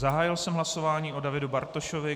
Zahájil jsem hlasování o Davidu Bartošovi.